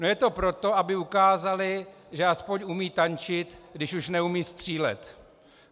No je to proto, aby ukázali, že aspoň umějí tančit, když už neumějí střílet.